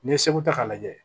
N'i ye segu ta k'a lajɛ